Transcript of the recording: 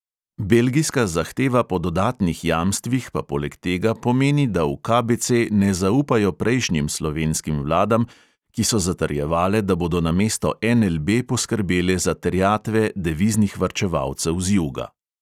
Belgijska zahteva po dodatnih jamstvih pa poleg tega pomeni, da v KBC ne zaupajo prejšnjim slovenskim vladam, ki so zatrjevale, da bodo namesto NLB poskrbele za terjatve deviznih varčevalcev z juga.